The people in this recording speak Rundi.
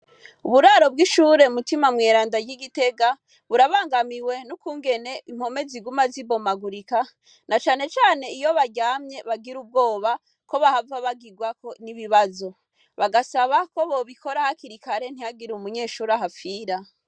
Uburaro bw'ishure mutima mweranda ry'igitega burabangamiwe n'ukungene impome ziguma zibomagurika nacanecane iyobaryamye bagira ubwoba ko bahava bagirwako n'ibibazo. Bagasaba ko bobikora hakiri kare ntihagire umunyeshure ahapfira.